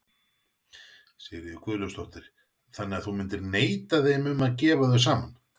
Sigríður Guðlaugsdóttir: Þannig að þú myndir neita þeim um að gefa þau saman?